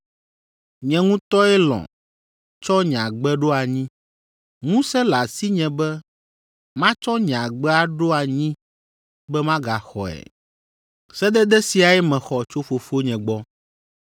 Nye ŋutɔe lɔ̃ tsɔ nye agbe ɖo anyi. Ŋusẽ le asinye be matsɔ nye agbe aɖo anyi be magaxɔe. Sedede siae mexɔ tso Fofonye gbɔ.”